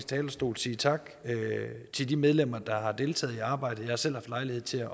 talerstol sige tak til de medlemmer der har deltaget i arbejdet jeg har selv haft lejlighed til at